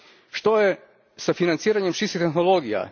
Što je s financiranjem čistih tehnologija?